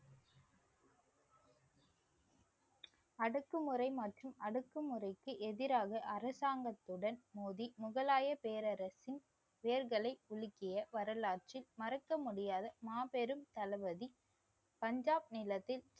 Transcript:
அடக்குமுறை மற்றும் அடக்குமுறைக்கு எதிராக அரசாங்கத்துடன் மோதி முகலாய பேரரசின் வேர்களை உலுக்கிய வரலாற்றின் மறக்க முடியாத மாபெரும் தளபதி பஞ்சாப் நிலத்தில்